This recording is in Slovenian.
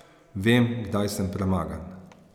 Vem, kdaj sem premagan.